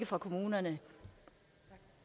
for kommunerne